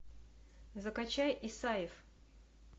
закачай исаев